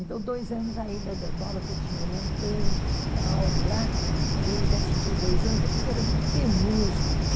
Então, dois anos ainda dando aula, que eu tinha orientandos e tal lá, eu ainda fiquei dois anos, depois era muito penoso ir.